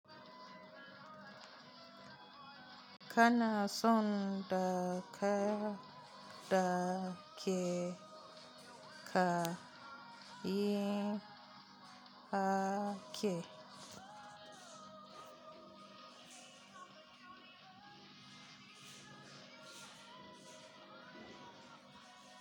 Kana son daka dake ka yin ake.